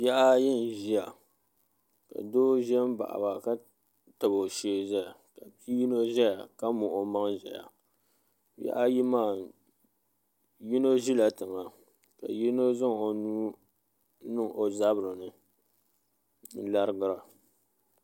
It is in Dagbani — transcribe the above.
Bihi ayi n ʒiya ka doo ʒɛ n baɣaba ka tabi o shee ʒɛya ka bia yino ʒɛya ka muɣu omaŋ ʒɛya bihi ayi maa yino ʒila tiŋa ka yino zaŋ o nuu niŋ o zabiri ni n larigira